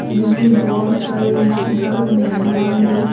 जिसमे बहुत सारे रिश्तेदार मेहमान लोग --